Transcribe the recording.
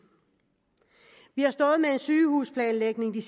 vi har stået med en sygehusplanlægning